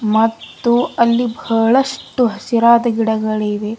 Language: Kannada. ಮತ್ತು ಅಲ್ಲಿ ಬಹಳಷ್ಟು ಹಸಿರಾದ ಗಿಡಗಳಿವೆ.